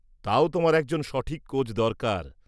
-তাও তোমার একজন সঠিক কোচ দরকার।